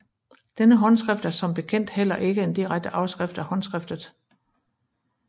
Dette håndskrift er som bekendt heller ikke en direkte afskrift af håndskriftet Σ